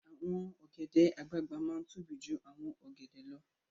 Awòn ògèdè àgbágbá má n tóbí jú áwòn ògèdè lò